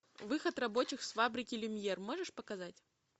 выход рабочих с фабрики люмьер можешь показать